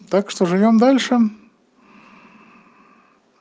так что живём дальше